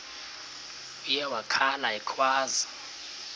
uye wakhala ekhwaza